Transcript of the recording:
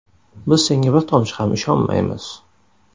Biz senga bir tomchi ham ishonmaymiz.